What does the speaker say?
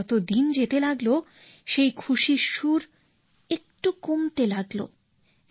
কিন্তু যত দিন যেতে লাগলো সেই খুশির সুর একটু কমতে লাগলো